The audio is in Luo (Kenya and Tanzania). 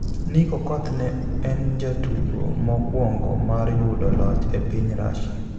Nick Okoth ne en jatugo mokuongo mar yudo loch e piny Rasia